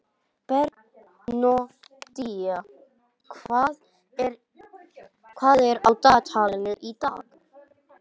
Bernódía, hvað er á dagatalinu í dag?